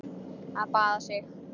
Að baða sig.